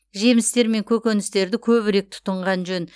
жемістер мен көкөністерді көбірек тұтынған жөн